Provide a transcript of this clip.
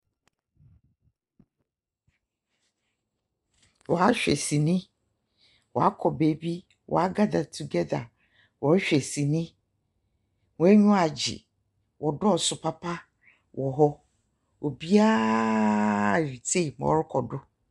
Ɔahwe sini, ɔakɔ baabi. Ɔagada together . Wɔrehwɛ sini. Wɔn anyiwa agye. Wɔdɔɔso papa wɔ hɔ. Obira retsie ma ɔrekɔ do.